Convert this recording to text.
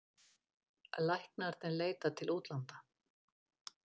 Læknarnir leita til útlanda